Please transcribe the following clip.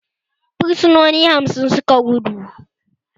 Fursunoni hamsin suka gudu